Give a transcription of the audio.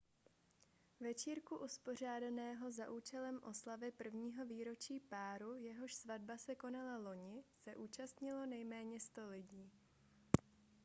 večírku uspořádaného za účelem oslavy prvního výročí páru jehož svatba se konala loni se zúčastnilo nejméně 100 lidí